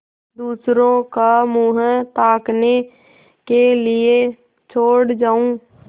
दूसरों का मुँह ताकने के लिए छोड़ जाऊँ